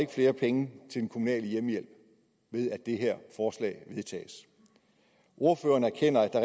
flere penge til den kommunale hjemmehjælp ved at det her forslag vedtages ordføreren erkender at der